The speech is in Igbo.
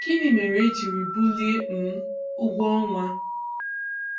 Gịnị mere e jiri bulie um ụgwọ ọnwa?